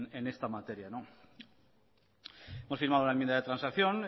en esta materia hemos firmado una enmienda de transacción